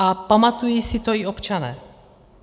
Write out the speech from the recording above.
A pamatují si to i občané.